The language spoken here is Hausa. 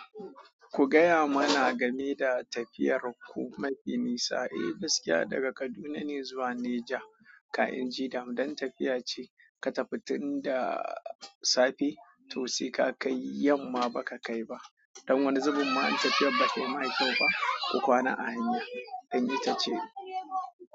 Ku gaya mana game da tafiyar ku ma fi nisa. Eh, gaskiya daga Kaduna ne zuwa Neja. Ka'enji dam, don tafiya ce ka tafi tun da safe to sai ka kai, yamma ba ka kai ba. Don wani zubin ma, an tafiyar batai ma kyau ba, ku kwana a hanya. Don ita ce.